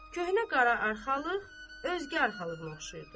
Köhnə qara arxalıq özgə arxalığına oxşayırdı.